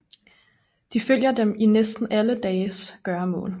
De følger dem i næsten alle dagens gøremål